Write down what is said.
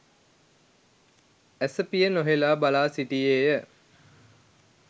ඇසපිය නොහෙලා බලාසිටියේය.